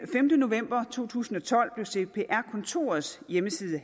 femte november to tusind og tolv blev cpr kontorets hjemmeside